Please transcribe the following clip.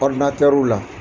Ɔridinatɛriw la